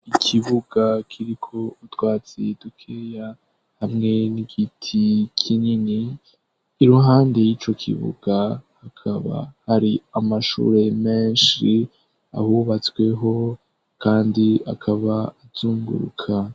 Ikibuga kiriko utwatsi dukeya hamwe n'igiti kinini iruhande y'icokibuga hakaba hari amashure menshi ahubatsweho kandi akaba azunguruka.